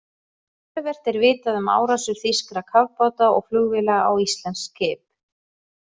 Töluvert er vitað um árásir þýskra kafbáta og flugvéla á íslensk skip.